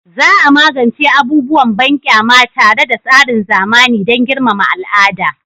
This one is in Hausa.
Za a magance abubuwan banƙyama tare da tsarin zamani dan girmama al'ada